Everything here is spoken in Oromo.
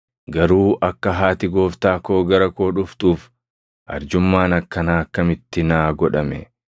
Garuu akka haati Gooftaa koo gara koo dhuftuuf arjummaan akkanaa akkamitti naa godhame?